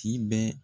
Ci bɛɛ